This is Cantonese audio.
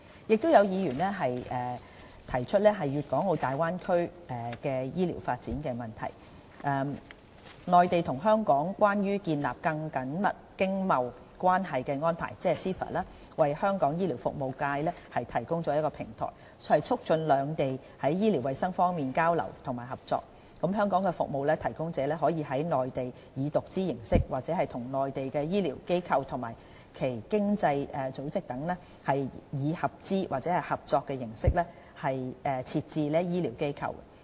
有議員提出粵港澳大灣區醫療發展的問題，"內地與香港關於建立更緊密經貿關係的安排"為香港醫療服務業界提供了平台，促進兩地在醫療衞生方面的交流和合作，香港服務提供者可以在內地以獨資形式、或與內地的醫療機構和其他經濟組織等以合資或合作形式設置醫療機構。